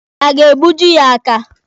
A ga-egbuji ya aka?